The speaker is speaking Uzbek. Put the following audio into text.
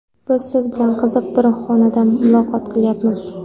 Biz siz bilan qiziq bir xonada muloqot qilyapmiz.